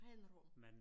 Ren rom